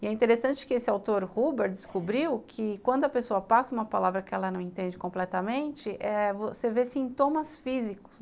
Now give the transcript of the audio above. E é interessante que esse autor Huber descobriu que quando a pessoa passa uma palavra que ela não entende completamente eh, você vê sintomas físicos.